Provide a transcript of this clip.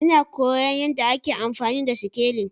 Ina koyon yadda ake amfani da sikelin